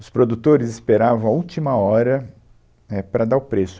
Os produtores esperavam a última hora, éh, para dar o preço.